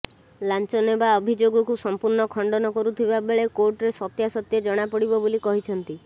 ଲାଞ୍ଚ ନେବା ଅଭିଯୋଗକୁ ସମ୍ପୂର୍ଣ୍ଣ ଖଣ୍ଡନ କରୁଥିବା ବେଳେ କୋର୍ଟରେ ସତ୍ୟାସତ୍ୟ ଜଣାପଡ଼ିବ ବୋଲି କହିଛନ୍ତି